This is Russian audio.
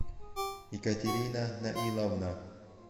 екатерина наиловна